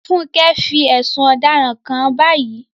Funke fẹ̀sùn ọ̀daràn kàn án báyìí.